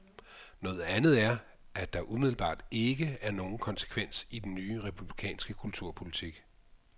Noget andet er, at der umiddelbart ikke er nogen konsekvens i den nye republikanske kulturpolitik.